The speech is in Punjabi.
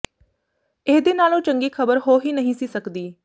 ਇਹਦੇ ਨਾਲੋਂ ਚੰਗੀ ਖ਼ਬਰ ਹੋ ਹੀ ਨਹੀਂ ਸੀ ਸਕਦੀ